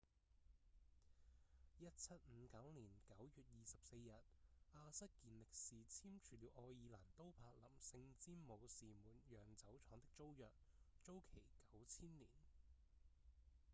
1759年9月24日亞瑟‧健力士簽署了愛爾蘭都柏林聖詹姆士門釀酒廠的租約租期九千年